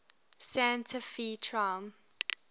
santa fe trail